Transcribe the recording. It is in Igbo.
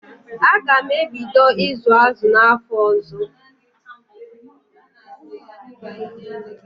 Aga m ebido ịzụ azụ n'afọ ọzọ.